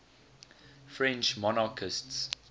french monarchists